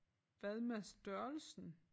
Hvad med størrelsen?